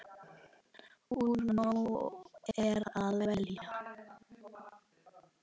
Úr nógu er að velja!